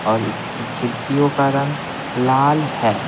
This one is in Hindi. और इसकी खिड़कियों का रंग लाल है।